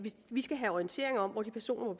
vi skal have orientering om hvor de personer